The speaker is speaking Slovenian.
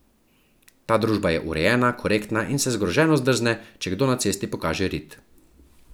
Ta družba je urejena, korektna in se zgroženo zdrzne, če kdo na cesti pokaže rit.